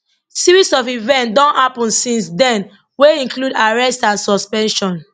series of events don happun since den wey include arrest and suspension